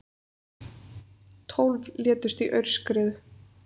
Tólf létust í aurskriðu